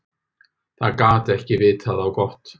Það gat ekki vitað á gott.